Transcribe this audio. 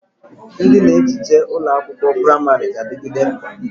Ndị na ehicha ụlọ akwụkwọ pramarị ga-adịgide mkpa